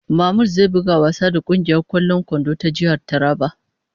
""Mamud zai buga wasa da kungiyar kwallon kwando ta jihar Taraba ."